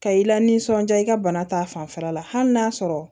Ka i la nisɔndiya i ka bana ta fanfɛla la hali n'a sɔrɔ